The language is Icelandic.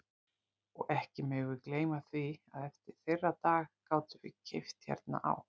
Og ekki megum við gleyma því að eftir þeirra dag gátum við keypt hérna á